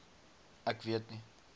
ek weet nie